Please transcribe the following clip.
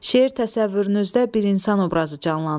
Şeir təsəvvürünüzdə bir insan obrazı canlandırdı.